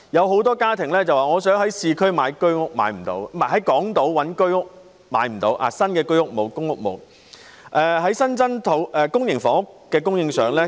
很多家庭想在港島購買居屋，但卻不能購買到，因為港島沒有新建的居屋或公屋。